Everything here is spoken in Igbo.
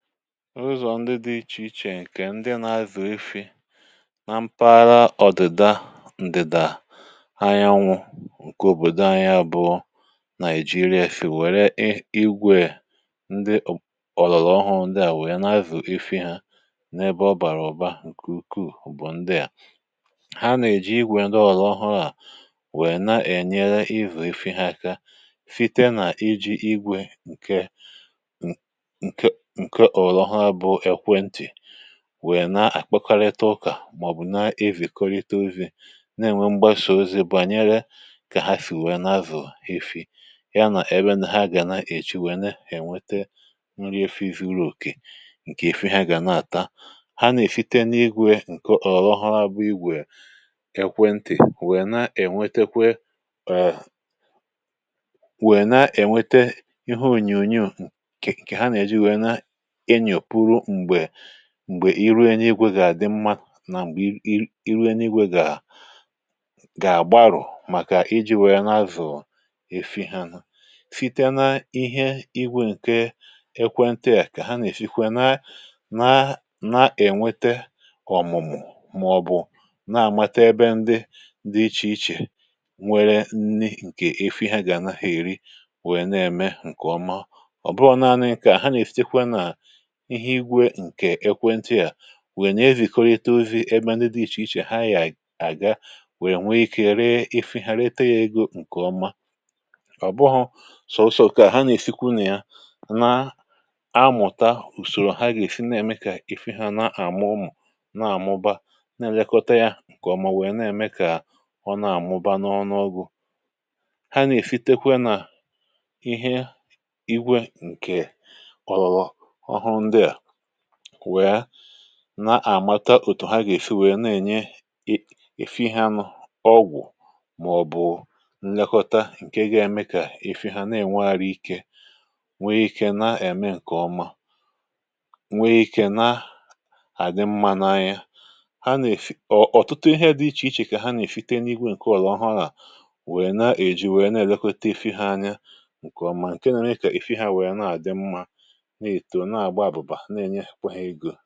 Ụzọ̀ ndị dị iche iche, nke ndị nà-àzụ̀ efi̇ nà mpaghara ọ̀dị̀da ànyànwụ̇ nke òbòdò ànyà, bụ̀ nà-èji rie. Ụfọdụ nà-èji igwè ndị ọ̀lụ̀lụ̀ ọhụ, ndị à wèe nà-azụ̀ efi ha n’ebe ọ̀ bàrà ọ̀ba, nke ukwù um Ndị à, ha nà-èji igwè ndị ọ̀lụ̀ ọhụ̀ à, wèe na-ènye ịvù efi ha aka, site nà iji̇ igwè nke wèe na-àkpọkarịta ụkà, màọ̀bụ̀ na-ivèkọrịta ozi̇, na-ènwe mgbasà ozi̇ bànyere kà ha sì wèe n’azụ̀ efi ha nà ebe ha gà na-èji wèe na-ènweta nri efu̇. Efi̇ na-enye uru̇ òkè, nke efi̇ ha gà na-àta. Ha nà-èfite n’ihu̇e, nke ọ̀ rọ̀rọ̀ hụrụ abụ̇ igwè ekwentì, wèe na-ènweta um ihe ònyònyò, m̀gbè ìrùēnwùigwè gà-àdị mmȧ. Nà m̀gbè ìrùēnwùigwè gà gbàrụ̀, màkà iji̇ wèe nà-azụ̀ efi ha nà fite, na ihe igwè nke ekwentì à, kà ha nà-èfikwa nà na-ènweta ọ̀mụ̀mụ̀, màọ̀bụ̀ na-àmata ebe ndị dị iche iche nwere nni, nke efi̇ ha gà-ànahị̀ èri. Wèe na-ème nke ọma, ọ̀ bụrụ na um ha nà-èfikwa nà ihe igwè nke um ekwentì à, wènyà ezìkọrịta ozi̇ n’etiti ebe ndị dị iche iche... Ha àga, wèe nwe ikė ree efi̇ ha, ree tee ya egȯ nke ọma. Ọ̀ bụhụ sọ̀ọsọ̀ kà ha nà-èfikwu nà ya, um na-amụ̀ta ùsòrò ha gà-èsi na-ème, kà efi̇ ha na-àmụ̀mụ̀, na-àmụ̀ba, na-èlekọta ya nke ọma, wèe na-ème kà ọ na-àmụ̀ba n’ọrụ. Ndị à nà-èfitekwe nà ihe igwè nke na-àmata òtù ha gà-èfi, nwèrè um na-ènye efi̇ ihe anụ̇, ọgwụ̀, màọ̀bụ̀ nlekọta nke ga-èmè kà efi̇ ha na-ènwe ara,.. nwee ikė, na-ème nke ọma, nwee ikė, na-àdị mmȧ nà ya. Ha nà-èfi̇, ọ̀, ọ̀tụtụ ihe dị iche iche, um kà ha nà-èfite n’igwè nke ọ̀lụ̀ ọhụ, nà nwèrè na-èji, nwèrè na-èlekọta efi̇ ha anya nke ọma, nke nà-ènye kà efi̇ ahụ̀ wèe na-àdị mmȧ nke ọma.